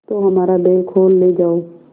तो हमारा बैल खोल ले जाओ